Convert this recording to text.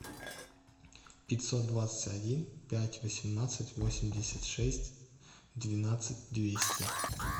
пятьсот двадцать один пять восемнадцать восемьдесят шесть двенадцать двести